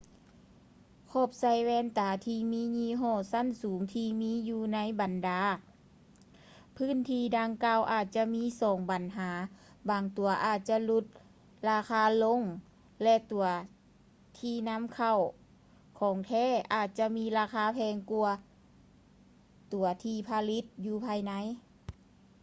ຂອບໃສ່ແວ່ນຕາ ທີ່ມີຍີ່ຫໍ້ຊັ້ນສູງ ທີ່ມີຢູ່ໃນບັນດາພື້ນທີ່ດັ່ງກ່າວອາດຈະມີສອງບັນຫາ ບາງຕົວອາດຈະຫຼຸດລາຄາລົງ ແລະ ຕົວທີ່ນຳເຂົ້າຂອງແທ້ ອາດຈະມີລາຄາແພງກ່ວາຕົວທີ່ຜະລິດຢູ່ພາຍໃນ